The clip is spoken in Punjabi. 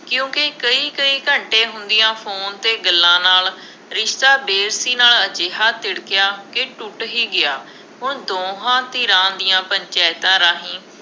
ਕਿਉਂਕਿ ਕਈ ਕਈ ਘੰਟੇ ਹੁੰਦੀਆ ਫੋਨ 'ਤੇ ਗੱਲਾਂ ਨਾਲ ਰਿਸ਼ਤਾ ਨਾਲ ਅਜਿਹਾ ਤਿੜਕਿਆ ਕਿ ਟੁੱਟ ਹੀ ਗਿਆ। ਹੁਣ ਦੋਹਾਂ ਧਿਰਾਂ ਦੀਆਂ ਪੰਚਾਇਤਾਂ ਰਾਹੀਂ